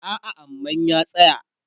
a'a aman ya tsaya